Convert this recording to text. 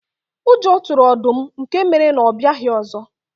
Ụjọ tụrụ ọdụm nke mere na ọ abịaghị ọzọ.